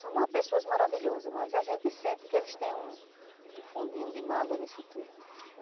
São pessoas maravilhosas, mas a gente sente que eles têm um fundinho de mágoa nisso tudo.